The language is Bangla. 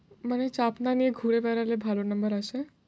মানে চাপ না নিয়ে ঘুরে বেড়ালে ভালো number আসে?